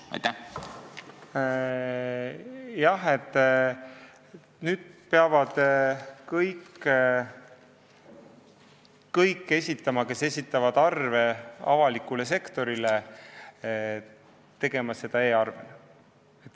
Jah, nüüd peavad kõik, kes esitavad arve avalikule sektorile, tegema seda e-arvena.